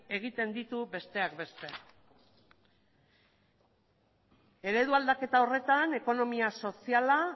egiten ditu besteak beste eredu aldaketa horretan ekonomia soziala